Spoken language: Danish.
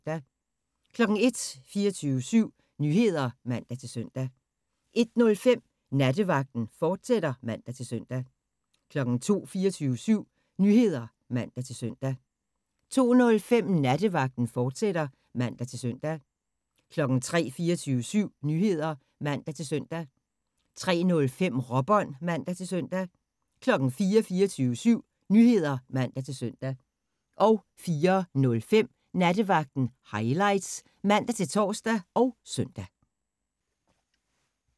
01:00: 24syv Nyheder (man-søn) 01:05: Nattevagten, fortsat (man-søn) 02:00: 24syv Nyheder (man-søn) 02:05: Nattevagten, fortsat (man-søn) 03:00: 24syv Nyheder (man-søn) 03:05: Råbånd (man-søn) 04:00: 24syv Nyheder (man-søn) 04:05: Nattevagten Highlights (man-tor og søn)